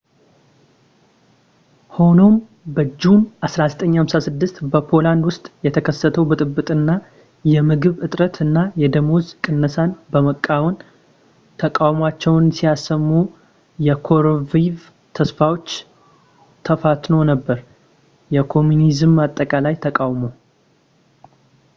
ሆኖም በጁን 1956 በፖላንድ ውስጥ የተከሰተው ብጥብጥ እና የምግብ እጥረት እና የደመወዝ ቅነሳን በመቃወም ተቃውሟቸውን ሲያሰሙ የኮሩሺቭ ተስፋዎች ተፈትኖ ነበር የኮሚኒዝም አጠቃላይ ተቃውሞ